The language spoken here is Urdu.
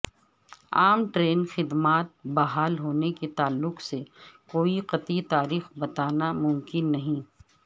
عام ٹرین خدمات بحال ہونے کے تعلق سے کوئی قطعی تاریخ بتانا ممکن نہیں